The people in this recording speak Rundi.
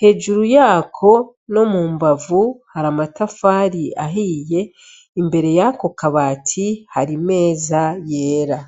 Hejuru yako nomumbavu har'amatafari ahiye; imbere yako kabati har'imeza yera.